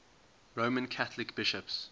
roman catholic bishops